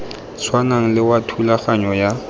tshwanang le wa thulaganyo ya